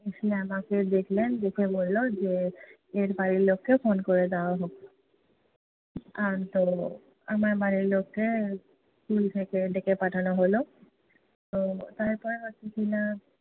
উনি আমাকে দেখলেন। দেখে বললো যে এর বাড়ির লোককে phone করে দেয়া হোক। আর তো আমার বাড়ির লোককে school থেকে ডেকে পাঠানো হলো। তো তারপর হচ্ছে কি-না